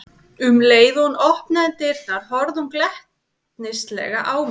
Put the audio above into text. Um leið og hún opnaði dyrnar horfði hún glettnislega á mig.